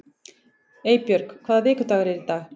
Eybjörg, hvaða vikudagur er í dag?